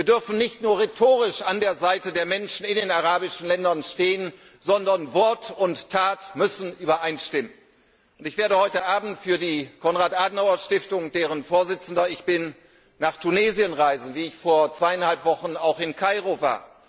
Wir dürfen nicht nur rhetorisch an der Seite der Menschen in den arabischen Ländern stehen, sondern Wort und Tat müssen übereinstimmen. Ich werde heute Abend für die Konrad Adenauer Stiftung, deren Vorsitzender ich bin, nach Tunesien reisen, wie ich vor zweieinhalb Wochen auch in Kairo war.